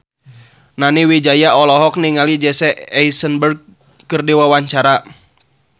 Nani Wijaya olohok ningali Jesse Eisenberg keur diwawancara